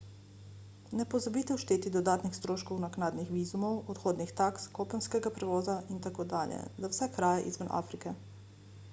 ne pozabite všteti dodatnih stroškov naknadnih vizumov odhodnih taks kopenskega prevoza itd za vse kraje izven afrike